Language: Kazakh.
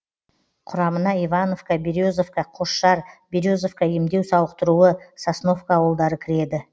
құрамына ивановка березовка қосшар березовка емдеу сауықтыруы сосновка ауылдары кіреді